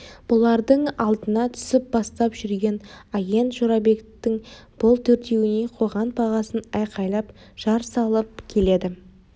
бұлардың алдына түсіп бастап жүрген агент жорабектің бұл төртеуіне қойған бағасын айқайлап жар салып келеді